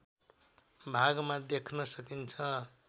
भागमा देख्न सकिन्छ